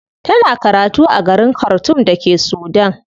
Tana karatu a garin khartoum da ke Sudan.